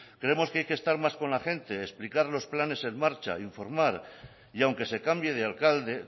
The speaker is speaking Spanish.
creemos que hay que estar más con la gente explicar los planes en marcha informar y aunque se cambie de alcalde